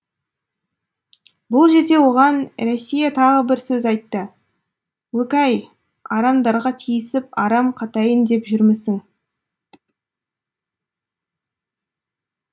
бұл жерде оған рәсия тағы бір сөз айтты өк ей арамдарға тиісіп арам қатайын деп жүрмісің